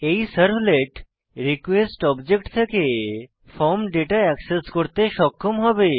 এই servlet request object থেকে form data access করতে সক্ষম হবে